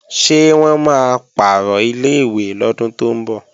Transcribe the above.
Ṣé wọ́n máa pàrọ̀ ilé-ìwé lọ́dún tó ń bọ̀?